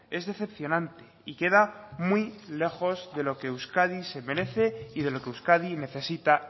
es decepcionante y queda muy lejos de lo que euskadi se merece y de lo que euskadi necesita